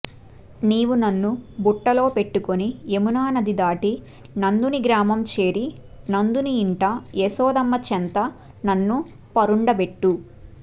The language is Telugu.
నీవు నన్ను బుట్టలోపెట్టుకొని యమునానది దాటి నందుని గ్రామం చేరి నందుని ఇంట యశోదమ్మ చెంత నన్ను పరుండబెట్టు